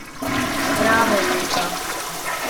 Bravo Ilka.